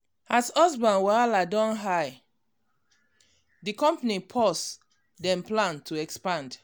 as business wahala don high di company pause dem plan to expand.